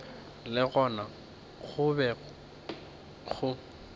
le gona go be go